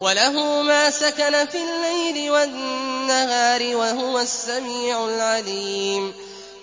۞ وَلَهُ مَا سَكَنَ فِي اللَّيْلِ وَالنَّهَارِ ۚ وَهُوَ السَّمِيعُ الْعَلِيمُ